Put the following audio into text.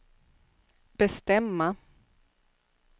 bestämma